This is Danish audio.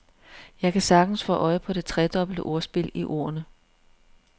Jeg kan sagtens få øje på det tredobbelte ordspil i ordene.